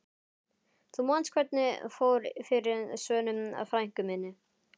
Þú manst hvernig fór fyrir Svönu frænku minni.